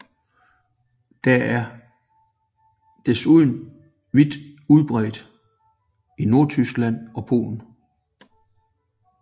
Der er desuden vidt udbredt i Nordtyskland og Polen